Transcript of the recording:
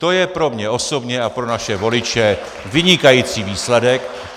To je pro mě osobně a pro naše voliče vynikající výsledek.